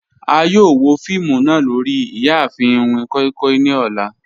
A yoo wo fiimu naa lori iyaafin iwin koi koi ni ọlá